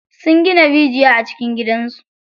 Sun gina rijiya a cikin gidan su.